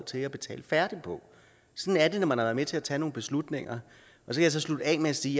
til at betale færdigt på sådan er det når man har været med til at tage nogle beslutninger jeg kan så slutte af med at sige